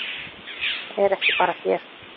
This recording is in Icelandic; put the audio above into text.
Það er ekki bara hér.